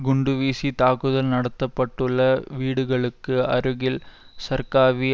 குண்டுவீசி தாக்குதல் நடத்த பட்டுள்ள வீடுகளுக்கு அருகில் சர்க்காவி